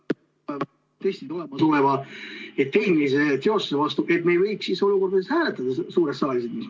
]... siis see võib ... väga ... tõesti tuleva tehnilise teostuse vastu, et me ei võiks siis olukorda hääletada suures saalis.